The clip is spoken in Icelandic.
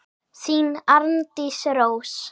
Þín, Arndís Rós.